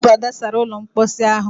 Ọ bụ Ada sara ụlọ mposi ahụ.